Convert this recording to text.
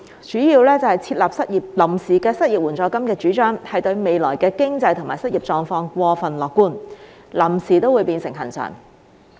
第一，設立臨時的失業援助金的主張，對未來經濟和失業狀況過分樂觀，"臨時"都會變成"恆常"。